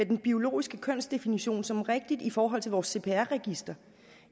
den biologiske kønsdefinition som rigtig i forhold til vores cpr register